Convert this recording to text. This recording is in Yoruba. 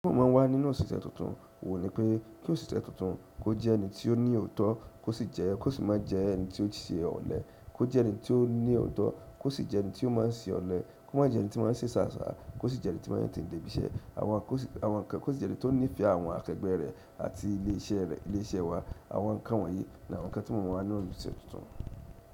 Tí wọ́n ma ń wà nínú òṣìṣẹ́ tuntun oun ni pé kí òṣìṣẹ́ tuntun kó jẹ́ ẹni tí ó ní òótọ́, kó sì ma jẹ ẹni tí ó máa ń ṣe ọ̀lẹ, kó je ẹni ti o ni ooto má jẹ ẹni tí ó máa ń ṣe ṣàṣà, kó sì jẹ ẹni tí máa ń tetẹ̀ dé ibi iṣẹ́, àwọn nǹkan kó sì jẹ ẹni tó nífẹ̀ẹ́ àwọn akẹgbẹ́ rẹ̀ àti ilé iṣẹ́ wá, àwọn nǹkan wọ̀nyí ni àwọn nǹkan tí mo ń wà nínú òṣìṣẹ́ tuntun.